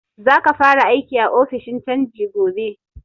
Za ka fara aiki a ofishin canji gobe!